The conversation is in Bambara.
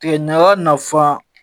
Tigɛ ɲaga nafa